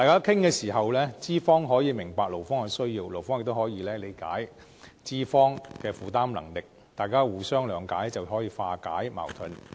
通過討論，資方可以明白勞方的需要，勞方亦可以理解資方的負擔能力，大家互相諒解，就可以化解矛盾。